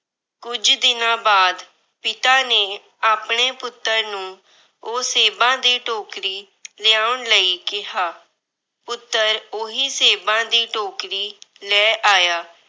ਕੁਝ ਦਿਨਾਂ ਬਾਅਦ ਪਿਤਾ ਨੇ ਆਪਣੇ ਪੁੱਤਰ ਨੂੰ ਉਹ ਸੇਬਾਂ ਦੀ ਟੋਕਰੀ ਲਿਆਉਣ ਲਈ ਕਿਹਾ। ਪੁੱਤਰ ਉਹੀ ਸੇਬਾਂ ਦੀ ਟੋਕਰੀ ਲੈ ਆਇਆ।